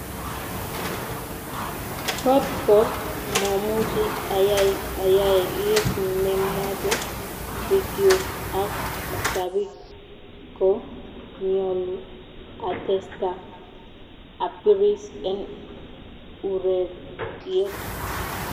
"kot ko momuchi ayai ayai kit nemoche Pikyuk ak mashapik ko mnyolu atesta apiris en ureryet.